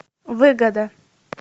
выгода